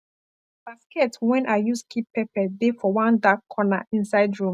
basket wen i use keep pepper de for one dark corner inside room